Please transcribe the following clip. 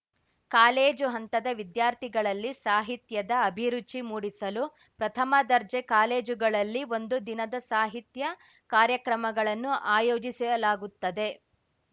college ಹಂತದ ವಿದ್ಯಾರ್ಥಿಗಳಲ್ಲಿ ಸಾಹಿತ್ಯದ ಅಭಿರುಚಿ ಮೂಡಿಸಲು ಪ್ರಥಮ ದರ್ಜೆ ಕಾಲೇಜುಗಳಲ್ಲಿ ಒಂದು ದಿನದ ಸಾಹಿತ್ಯ ಕಾರ್ಯಕ್ರಮಗಳನ್ನು ಆಯೋಜಿಸಲಾಗುತ್ತದೆ